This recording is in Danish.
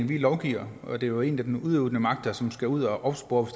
vi lovgiver og det er jo egentlig den udøvende magt som skal ud at opspore